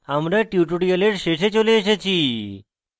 আমরা tutorial শেষে চলে এসেছি